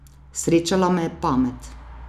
Srečala me je pamet.